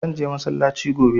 Zan je masallaci gobe